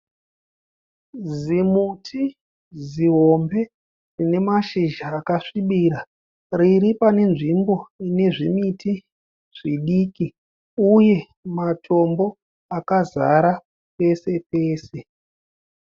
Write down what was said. Zimuti zihombe rine mashizha akasvibira, riri pane nzvimbo ine zvimiti zvidiki uye matombo akazara pese-pese.